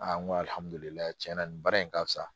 n ko ni baara in ka fisa